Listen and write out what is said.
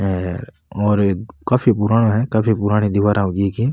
हर और ये काफी पुराना है काफी पुराना दिवारा होरी है ईकी।